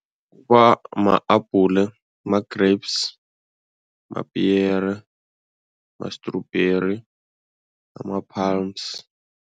Kuba ma-abhule, ma-grapes, mapiyere, ma-strawberry, ama-palms.